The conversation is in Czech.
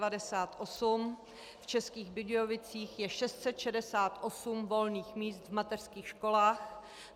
V Českých Budějovicích je 668 volných míst v mateřských školách.